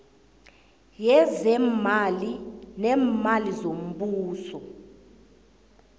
yezeemali neemali zombuso